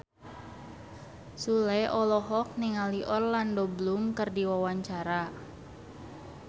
Sule olohok ningali Orlando Bloom keur diwawancara